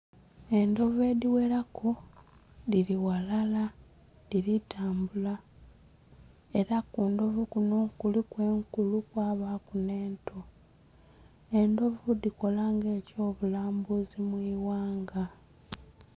Endhovu edhi ghela ku dhili ghalala dhili tambula era ku ndhovu kunho kuliku enkulu kwabaku nhe nto, endhovu dhikola nga ekyo bulambuzi mwi ghanga.